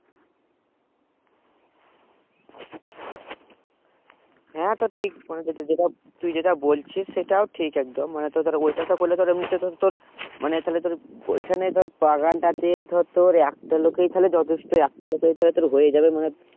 হেঁ তো ঠিক মনে করেছে যেটা তুই যেটা বলছিস সেটাও ঠিক একদম মানে তো ধর করলে মানে তালে ওখানে তাতে বাগান টা তে ধর একটা লোগে জোতুষ্টে একটা লোগে ধর তোর হয়ে যাবে